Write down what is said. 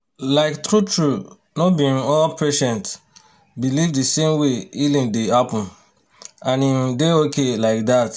to understand wetin patient believe true-true you sabi say e say e fit help make communication and trust better.